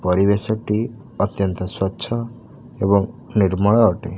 ପରିବେଶତ ଟି ଅତ୍ୟନ୍ତ ସ୍ୱଚ୍ଛ ଏବଂ ନିର୍ମଳ ଅଟେ।